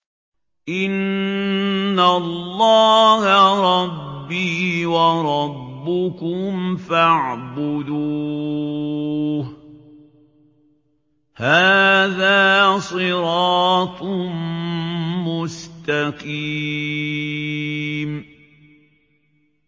إِنَّ اللَّهَ رَبِّي وَرَبُّكُمْ فَاعْبُدُوهُ ۗ هَٰذَا صِرَاطٌ مُّسْتَقِيمٌ